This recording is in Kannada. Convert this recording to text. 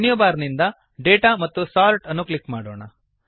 ಮೆನು ಬಾರ್ ನಿಂದ ಡಾಟಾ ಮತ್ತು ಸೋರ್ಟ್ ಅನ್ನು ಕ್ಲಿಕ್ ಮಾಡೋಣ